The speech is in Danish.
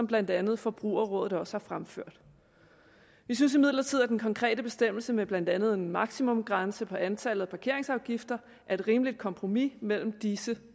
blandt andet forbrugerområdet også har fremført vi synes imidlertid at den konkrete bestemmelse med blandt andet en maksimumsgrænse for antallet af parkeringsafgifter er et rimeligt kompromis mellem disse